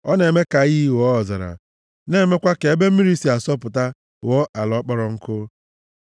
Ọ na-eme ka iyi ghọọ ọzara; na-emekwa ka ebe mmiri si asọpụta ghọọ ala kpọrọ nkụ.